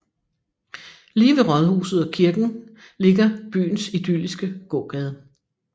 Lige ved rådhuset og kirken ligger byens idylliske gågade